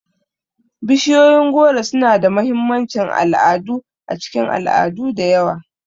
Bishiyoyin goro suna da mahimmancin al'adu a cikin al'adu da yawa.